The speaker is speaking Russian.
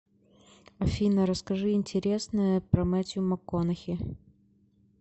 афина расскажи интересное про метью макконахи